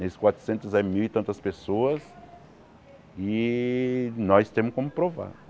nesses quatrocentos é mil e tantas pessoas e nós temos como provar.